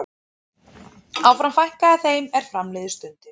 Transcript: Áfram fækkaði þeim er fram liðu stundir.